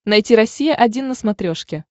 найти россия один на смотрешке